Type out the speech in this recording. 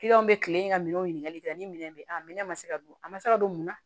Kiliyanw bɛ kilen in ka minɛnw ɲininkali kɛ ni minɛn bɛ yen a minɛ ma se ka don a ma se ka don mun na